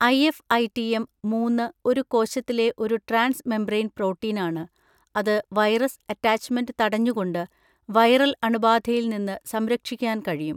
IFITM മൂന്ന് ഒരു കോശത്തിലെ ഒരു ട്രാൻസ് മെമ്പ്രേൻ പ്രോട്ടീനാണ്, അത് വൈറസ് അറ്റാച്ച്മെന്റ് തടഞ്ഞുകൊണ്ട് വൈറൽ അണുബാധയിൽ നിന്ന് സംരക്ഷിക്കാൻ കഴിയും.